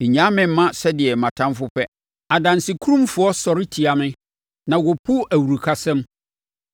Nnyaa me mma sɛdeɛ mʼatamfoɔ pɛ, adansekurumfoɔ sɔre tia me na wɔpu awurukasɛm.